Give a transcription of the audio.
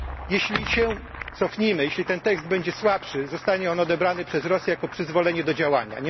Jeśli się cofniemy, jeśli ten tekst będzie słabszy, zostanie on odebrany przez Rosję jako przyzwolenie do działania.